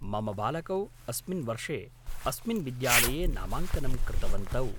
मम बालकौ अस्मिन् वर्षे अस्मिन् विद्यालये नामाङ्कनं कृतवन्तौ।